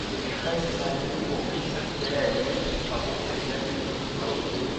ore nena kemikali na kiruko peya iweuji sapuk tenjian e glout.